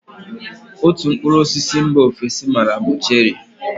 Otú mkpụrụ osisi mba ofesi m maara bụ cherị.